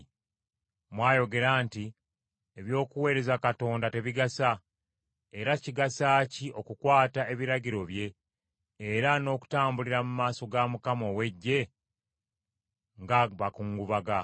“Mwayogera nti, ‘Eby’okuweereza Katonda tebigasa, era kigasa ki okukwata ebiragiro bye era n’okutambulira mu maaso ga Mukama ow’Eggye ng’abakungubaga?